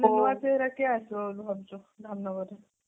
ନୂଆ ଚେହେରା କିଏ ଆସିବ ଭାବୁଛି ଧାମନଗର ରେ